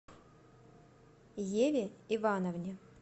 еве ивановне